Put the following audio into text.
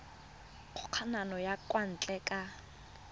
kgokagano ya kwa ntle ka